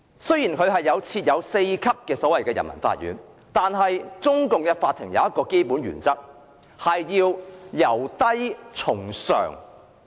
雖然內地設有4級人民法院，但中共的法院持一項基本原則，就是"由低從上"。